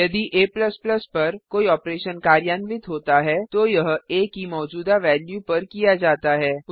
यदि a पर कोई ऑपरेशन कार्यान्वित होता है तो यह आ की मौजूदा वेल्यू पर किया जाता है